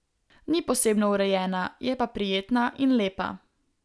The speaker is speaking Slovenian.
Ni posebno urejena, je pa prijetna in lepa.